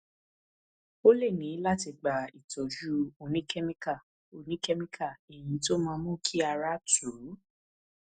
ó lè ní láti gba ìtọjú oníkẹmíkà oníkẹmíkà èyí tó máa mú kí ara tù ú